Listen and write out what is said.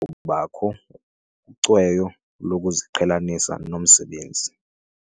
kubakho ucweyo lokuziqhelanisa nomsebenzi.